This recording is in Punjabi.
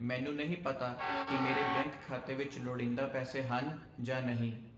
ਮੈਨੂੰ ਨਹੀਂ ਪਤਾ ਕਿ ਮੇਰੇ ਬੈਂਕ ਖਾਤੇ ਵਿੱਚ ਲੋੜੀਂਦੇ ਪੈਸੇ ਹਨ ਜਾਂ ਨਹੀਂ।